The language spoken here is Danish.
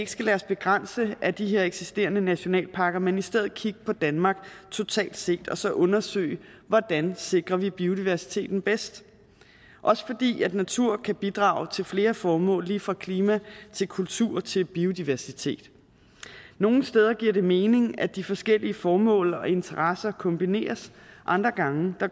skal lade os begrænse af de her eksisterende nationalparker men i stedet kigge på danmark totalt set og så undersøge hvordan vi sikrer biodiversiteten bedst også fordi natur kan bidrage til flere formål lige fra klima til kultur til biodiversitet nogle steder giver det mening at de forskellige formål og interesser kombineres andre gange